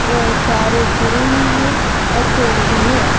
त तारे जुड़ी हुई है और पेड़ भी है।